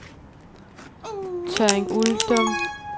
Tørring-Uldum